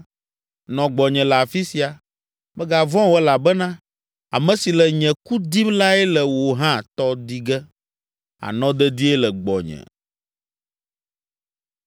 Nɔ gbɔnye le afi sia. Mègavɔ̃ o elabena ame si le nye ku dim lae le wò hã tɔ di ge; ànɔ dedie le gbɔnye.”